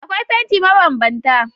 Akwai fanti mabanbanta